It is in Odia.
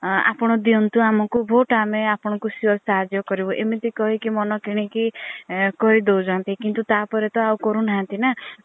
ଆପଣ ଦିଅନ୍ତୁ ଆମକୁ vote ଆମେ ଆପଣ ଙ୍କୁ sure ସାହାଯ୍ୟ କରିବୁ ଏମିତି କହିକି ମନ କିଣିକି କହି ଦୌଛନ୍ତି କିନ୍ତୁ ତା ପରେ ତ ଆଉ କରୁ ନାହାନ୍ତି ନା।